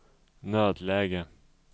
nödläge